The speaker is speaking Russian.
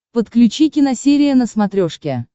подключи киносерия на смотрешке